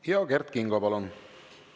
Ja Kert Kingo, palun!